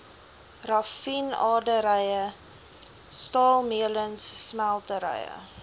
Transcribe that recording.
raffinaderye staalmeulens smelterye